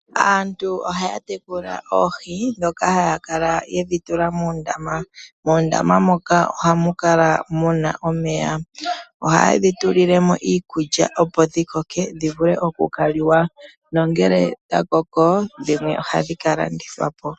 Aantu ohaya tekulanoohi ndhoka haya kala yedhi tula muundama. Muundama moka ohamu kala muna omeya. Oha yedhi tulilemo iikulya dhikoke nongele dha koko dhimwe ohadhi kalandithwa po.